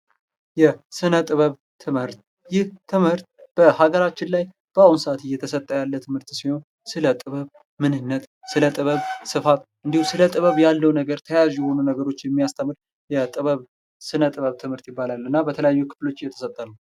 የስነ-ጥበብ ትምህርት ይህ ትምህርት በሀገራችን በአሁኑ ሰዓት ላይ እየተሰጠ ያለ ሲሆን ስለ ጥበብ ምንነት ስለ ጥበብ ስፋት እንዲሁም ስለ ጥበብ ያለው ነገር ተያያዥ የሆኑ ነገሮች የሚያስተምር የጥበብ የስነ-ጥበብ ትምህርት ይባላል። እና በተለያዩ ክፍሎች እየተሰጠ ነው።